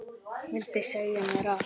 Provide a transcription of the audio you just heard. Vildi segja mér allt.